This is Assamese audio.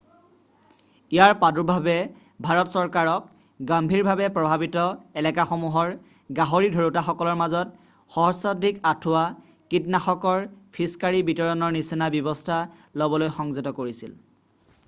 ইয়াৰ প্ৰাদুৰ্ভাৱে ভাৰত চৰকাৰক গম্ভীৰভাৱে প্ৰভাৱিত এলেকাসমূহৰ গাহৰি ধৰোতাসকলকৰ মাজত সহস্ৰাধিক আঁঠুৱা কীটনাশকৰ ফিছকাৰী বিতৰণৰ নিচিনা ব্যৱস্থা লবলৈ সংযত কৰিছিল